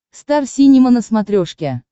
стар синема на смотрешке